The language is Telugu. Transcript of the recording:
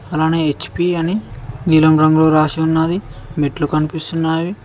అలాగే హెచ్_పి అని నీలం రంగులో రాసి ఉన్నాది మెట్లు కనిపిస్తున్నాయి.